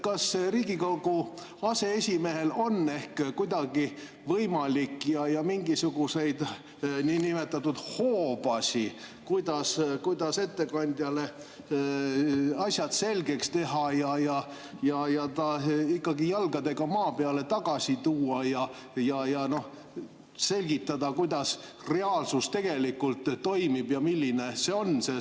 Kas Riigikogu aseesimehel on ehk kuidagi võimalik ja mingisuguseid niinimetatud hoobasid, kuidas ettekandjale asjad selgeks teha ja ta ikkagi jalgadega maa peale tagasi tuua ja selgitada, kuidas reaalsus tegelikult toimib ja milline see on?